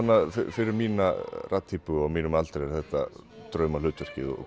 fyrir mína raddtýpu og á mínum aldri er þetta draumahlutverkið og